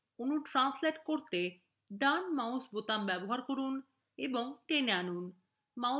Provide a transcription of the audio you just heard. অণু translate করতে drag mouse button ব্যবহার করুন এবং টেনে আনুন